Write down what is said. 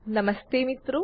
નમસ્તે મિત્રો